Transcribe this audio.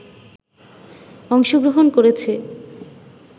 অংশগ্রহণ করেছে